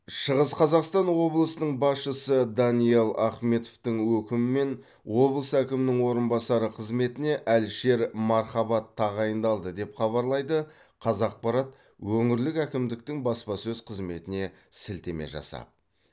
шығыс қазақстан облысының басшысы даниал ахметовтің өкімімен облыс әкімінің орынбасары қызметіне әлішер мархабат тағайындалды деп хабарлайды қазақпарат өңірлік әкімдіктің баспасөз қызметіне сілтеме жасап